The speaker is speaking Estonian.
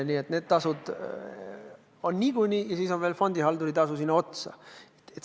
Nii et need tasud on niikuinii ja siis on veel fondihalduri tasu sinna otsa.